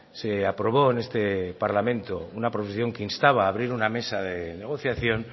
se aprobó en este parlamento una proposición que instaba a abrir una mesa de negociación